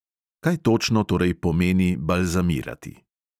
Kaj točno torej pomeni balzamirati.